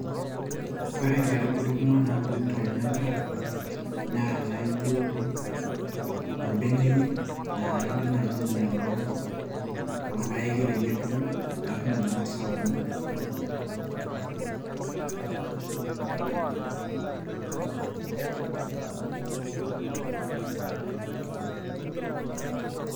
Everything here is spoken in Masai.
ore ikatubulu kumok naa bulu tolchamba naa inaijo orbeneyio naidim naaji aing'iala orpaeki peeyie ebulu.